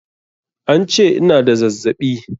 An ce ina da zazzaɓi.